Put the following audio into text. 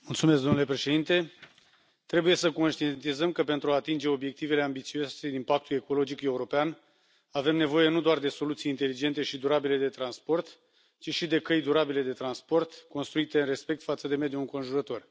Domnule Președinte, trebuie să conștientizăm că pentru a atinge obiectivele ambițioase din Pactul ecologic european avem nevoie nu doar de soluții inteligente și durabile de transport, ci și de căi durabile de transport, construite în respect față de mediul înconjurător.